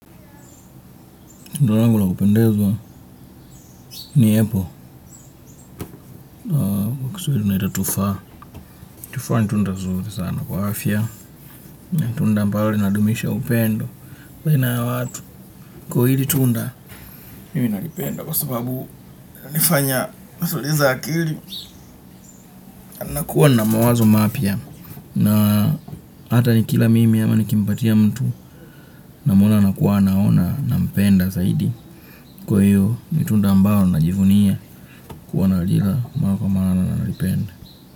Tundalangu la kupendeza, niapple. Kiswahili una itatufaha. Tufaha ni tunda nzuri sana kwa afya. Na tunda ambalo linadumisha upendo. Kwa hili tunda, mimi nalipenda. Kwa sababu, ina nifanya, natuliza akili. Na kuwa na mawazo mapya. Na hata ni kila mimi ama nikimpatia mtu. Na mwona ana kuwa anaona na mpenda zaidi. Kwa hili, ni tunda ambalo na jivunia. Kuwa na ajira, ambao kwa maana na nalipenda.